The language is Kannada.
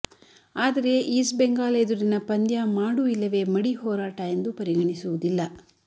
ಆದರೆ ಈಸ್ಟ್ ಬೆಂಗಾಲ್ ಎದುರಿನ ಪಂದ್ಯ ಮಾಡು ಇಲ್ಲವೇ ಮಡಿ ಹೋರಾ ಟ ಎಂದು ಪರಿಗಣಿಸುವುದಿಲ್ಲ